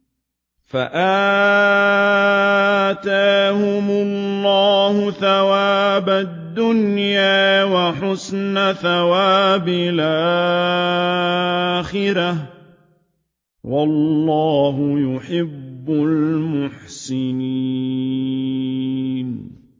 فَآتَاهُمُ اللَّهُ ثَوَابَ الدُّنْيَا وَحُسْنَ ثَوَابِ الْآخِرَةِ ۗ وَاللَّهُ يُحِبُّ الْمُحْسِنِينَ